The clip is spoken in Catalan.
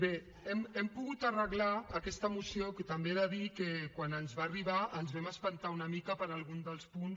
bé hem pogut arreglar aquesta moció que també he de dir que quan ens va arribar ens vam espantar una mica per algun dels punts